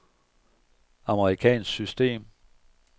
amerikansk system